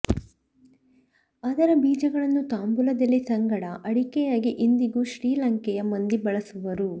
ಅದರ ಬೀಜಗಳನ್ನು ತಾಂಬೂಲದೆಲೆ ಸಂಗಡ ಅಡಿಕೆಯಾಗಿ ಇಂದಿಗೂ ಶ್ರೀಲಂಕೆಯ ಮಂದಿ ಬಳಸುವರು